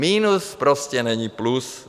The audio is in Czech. Minus prostě není plus.